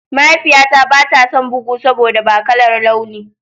Mahaifiyata ba ta son bugu saboda ba kalar launi.